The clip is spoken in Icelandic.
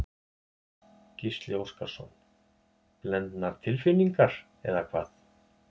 Gísli Óskarsson: Blendnar tilfinningar eða hvað?